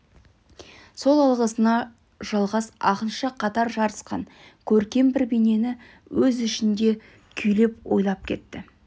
сол алғысына жалғас ақынша қатар жарысқан көркем бір бейнені өз ішінде күйлеп ойлап кетті